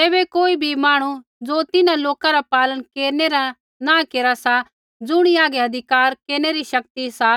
तैबै कोई बी मांहणु ज़ो तिन्हां लोका रा पालन केरनै रा नाँ केरा सा ज़ुणी हागै अधिकार केरनै री शक्ति सा